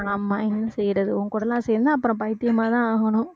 ஆமா என்ன செய்றது உன் கூட எல்லாம் சேர்ந்தா து அப்புறம் பைத்தியமா தான் ஆகணும்